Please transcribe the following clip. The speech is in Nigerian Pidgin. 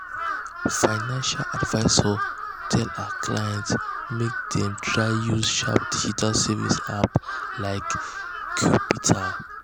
financial advisor tell her clients make dem try use sharp digital savings apps like qapital.